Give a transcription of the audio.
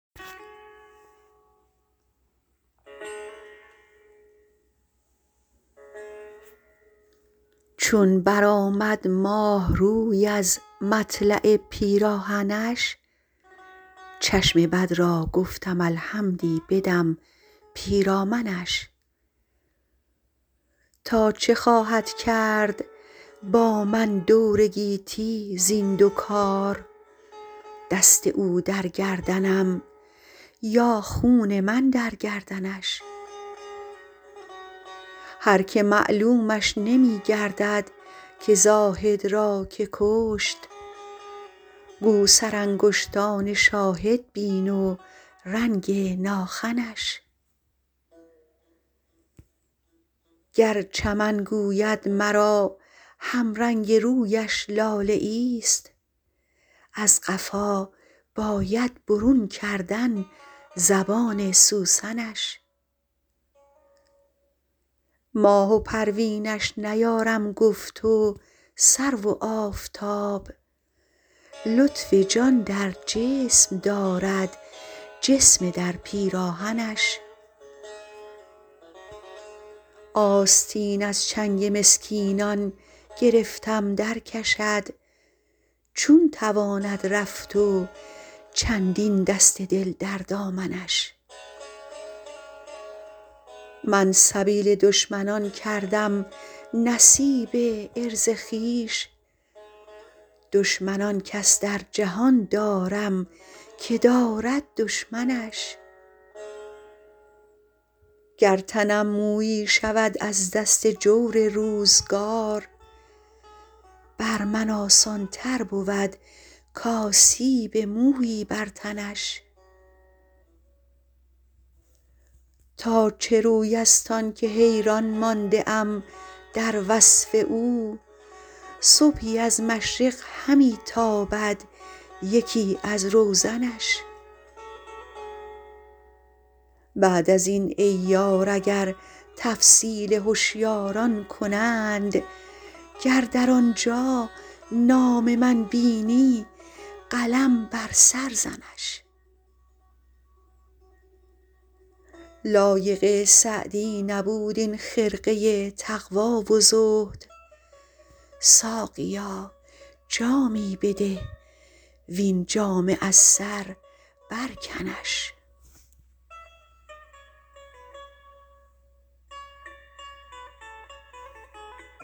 چون برآمد ماه روی از مطلع پیراهنش چشم بد را گفتم الحمدی بدم پیرامنش تا چه خواهد کرد با من دور گیتی زین دو کار دست او در گردنم یا خون من در گردنش هر که معلومش نمی گردد که زاهد را که کشت گو سرانگشتان شاهد بین و رنگ ناخنش گر چمن گوید مرا همرنگ رویش لاله ایست از قفا باید برون کردن زبان سوسنش ماه و پروینش نیارم گفت و سرو و آفتاب لطف جان در جسم دارد جسم در پیراهنش آستین از چنگ مسکینان گرفتم درکشد چون تواند رفت و چندین دست دل در دامنش من سبیل دشمنان کردم نصیب عرض خویش دشمن آن کس در جهان دارم که دارد دشمنش گر تنم مویی شود از دست جور روزگار بر من آسان تر بود کآسیب مویی بر تنش تا چه روی است آن که حیران مانده ام در وصف او صبحی از مشرق همی تابد یکی از روزنش بعد از این ای یار اگر تفصیل هشیاران کنند گر در آنجا نام من بینی قلم بر سر زنش لایق سعدی نبود این خرقه تقوا و زهد ساقیا جامی بده وین جامه از سر برکنش